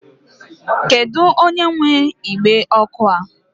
Kedu onye nwe igbe ọkụ a?